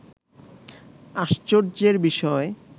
আশ্চর্য্যের বিষয়